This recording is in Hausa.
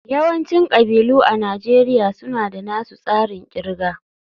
Yawancin kabilu a Najeriya suna da nasu tsarin kirga